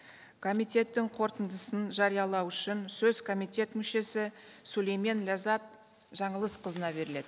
комитеттің қорытындысын жариялау үшін сөз комитет мүшесі сүлеймен ләззат жаңылысқызына беріледі